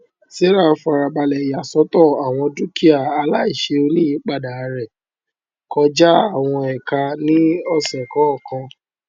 sarah fara balẹ yà sọtọ àwọn dúkìà aláìṣe oníyípadà rẹ kọjá àwọn ẹka ní ọsẹ kọọkan